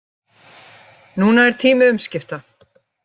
Núna er tími umskipta